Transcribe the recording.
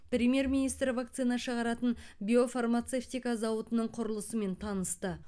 премьер министр вакцина шығаратын биофармацевтика зауытының құрылысымен танысты